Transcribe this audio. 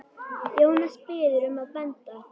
Jónas biður um að benda